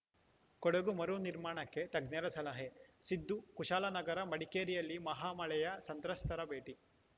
ಕೊಡಗು ಮರುನಿರ್ಮಾಣಕ್ಕೆ ತಜ್ಞರ ಸಲಹೆ ಸಿದ್ದು ಕುಶಾಲನಗರ ಮಡಿಕೇರಿಯಲ್ಲಿ ಮಹಾಮಳೆಯ ಸಂತ್ರಸ್ತರ ಭೇಟಿ